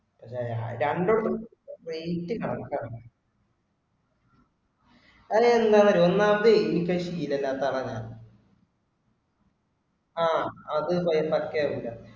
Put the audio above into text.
രണ്ടുണ്ട് weight correct ആവണം. അത് എന്താന്നറിയുവോ ഒന്നാമത് ശീലം ഇല്ലാത്ത ആളാ ഞാൻ ആ അത് പാക്കയാവൂല്ല